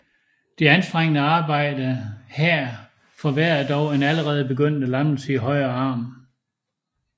Det anstrengende arbejde her forværrede dog en allerede begyndende lammelse i højre arm